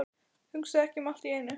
Hugsa ekki um allt í einu.